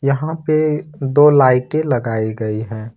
यहां पे दो लाइटें लगाई गई है।